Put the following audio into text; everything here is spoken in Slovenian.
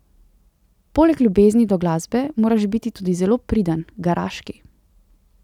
Poleg ljubezni do glasbe moraš biti tudi zelo priden, garaški.